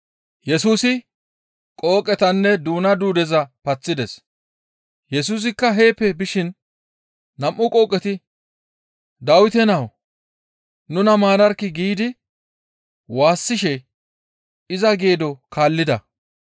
Yesusikka heeppe bishin nam7u qooqeti, «Dawite Nawu! Nuna maararkkii!» giidi waassishe iza geedo kaallida.